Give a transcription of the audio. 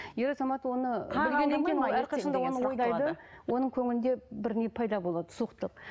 ер азамат оны оның көңілінде бір не пайда болады суықтық